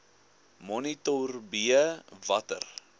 monitor b watter